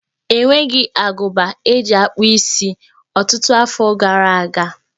E nweghi agụba eji akpụ isi ọtụtụ afọ gara aga.